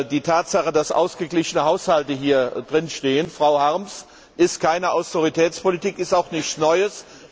Die Tatsache, dass ausgeglichene Haushalte hier drinstehen, Frau Harms, ist keine Austeritätspolitik und auch nichts Neues.